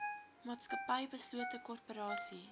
maatskappy beslote korporasie